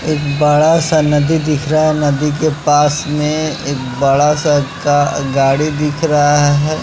एक बड़ा सा नदी दिख रहा है नदी के पास में एक बड़ा सा गा गाड़ी दिख रहा है।